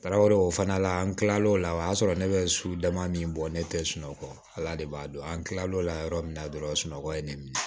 Karaw fana la an kilala o la o y'a sɔrɔ ne bɛ su dama min bɔ ne tɛ sunɔgɔ ala ala de b'a dɔn an tilal'o la yɔrɔ min na dɔrɔn sunɔgɔ ye ne minɛ